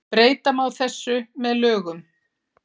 Breyta má þessu með lögum.